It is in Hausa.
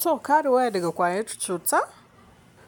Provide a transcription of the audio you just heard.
To kare waya daga ƙwayar cuta,